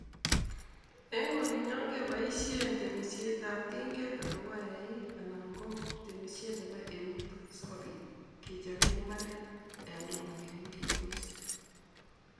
En olinyon keboisien temietab tinget ana ko eik anan kotemisiet nebo eut sikobit kechoben imbaret yon tomo kegolse